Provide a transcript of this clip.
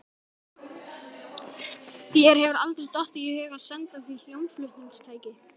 Þér hefur aldrei dottið í hug að senda því hljómflutningstæki?